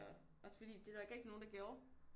Også fordi det var der ikke rigtig nogen der gjorde